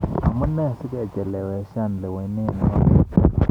Amu nee sikecheleweshan lewenet notok.